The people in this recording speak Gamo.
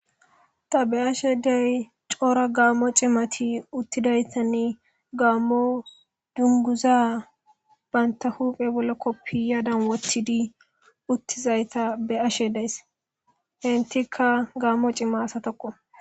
Ta beashe dizayis coora gaammo cimati uttidaytanne gaammo dunguza baynta huphe bollo koppi yadan wotidi uttizayta be ashe days hentikka gaammo cima asatoqo